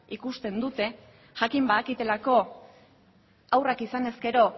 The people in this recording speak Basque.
ikusten dute jakin badakitelako haurrak izanez gero